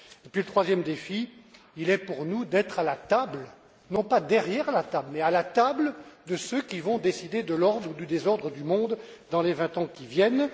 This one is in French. Et puis, le troisième défi, il consiste pour nous à être à la table, non pas derrière la table, mais à la table de ceux qui vont décider de l'ordre ou du désordre du monde dans les vingt ans qui viennent.